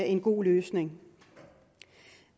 en god løsning